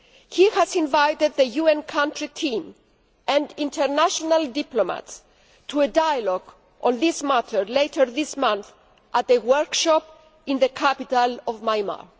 He has invited the UN Country Team and international diplomats to a dialogue on this matter later this month at a workshop in the capital Nay Pyi Taw.